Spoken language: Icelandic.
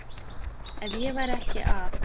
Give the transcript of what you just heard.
Ef ég væri ekki að